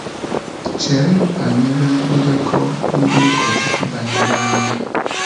Chee banyere ndekọ ndị ụkọchukwu banyere agha.